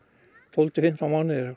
tólf til fimmtán mánuðir